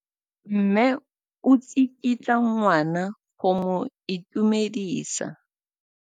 Mme o tsikitla ngwana go mo itumedisa.